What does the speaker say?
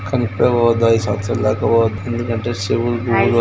కానీ ఇప్పుడే పోవద్దు ఐదు సంపత్సరాల దాకా పోవద్దు. ఎందుంకంటే చెవులూ--